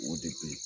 O de bɛ yen